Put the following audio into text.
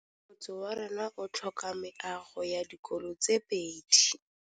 Motse warona o tlhoka meago ya dikolô tse pedi.